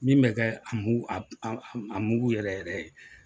Min bɛ kɛ a mugu a a mugu yɛrɛ yɛrɛ ye